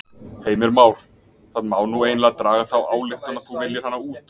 Heimir Már: Það má nú eiginlega draga þá ályktun að þú viljir hana út?